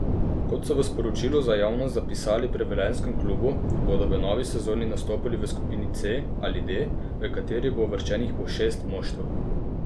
Kot so v sporočilu za javnost zapisali pri velenjskem klubu, bodo v novi sezoni nastopali v skupini C ali D, v kateri bo uvrščenih po šest moštev.